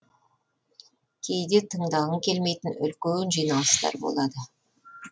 кейде тыңдағың келмейтін үлкен жиналыстар болады